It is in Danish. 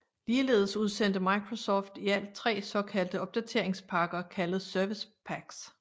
Ligeledes udsendte Microsoft i alt tre såkaldte opdateringspakker kaldet Service Packs